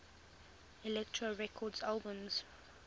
elektra records albums